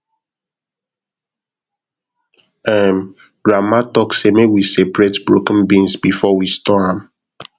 um grandma talk say make we separate broken beans before we store am